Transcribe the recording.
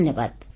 ଧନ୍ୟବାଦ